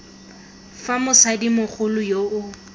fa motsadi mogolo yo o